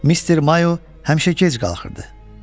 Mister Mayo həmişə gec qalxırdı.